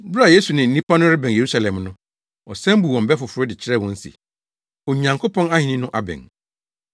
Bere a Yesu ne nnipa no rebɛn Yerusalem no, ɔsan buu wɔn bɛ foforo de kyerɛɛ wɔn se, Onyankopɔn ahenni no abɛn.